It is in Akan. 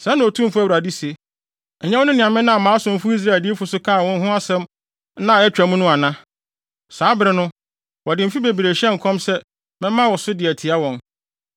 “ ‘Sɛɛ na Otumfo Awurade se: Ɛnyɛ wo ne nea menam mʼasomfo Israel adiyifo so kaa wo ho asɛm nna a atwa mu no ana? Saa bere no, wɔde mfe bebree hyɛɛ nkɔm se mɛma wo so de atia wɔn.